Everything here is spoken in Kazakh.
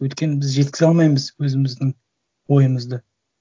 өйткені біз жеткізе алмаймыз өзіміздің ойымызды